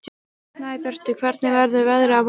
Snæbjartur, hvernig verður veðrið á morgun?